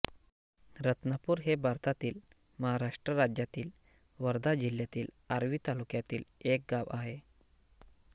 रत्नापूर हे भारतातील महाराष्ट्र राज्यातील वर्धा जिल्ह्यातील आर्वी तालुक्यातील एक गाव आहे